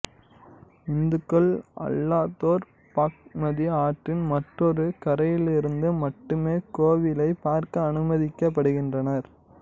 இந்துக்கள் அல்லாதோர் பாக்மதி ஆற்றின் மற்றொரு கரையிலிருந்து மட்டுமே கோவிலைப் பார்க்க அனுமதிக்கப்படுகின்றனர்